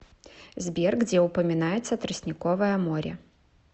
сбер где упоминается тростниковое море